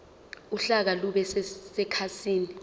uhlaka lube sekhasini